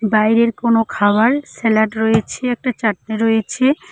বাইরের কোন খাওয়ার স্যালাড রয়েছে একটা চাটনি রয়েছে।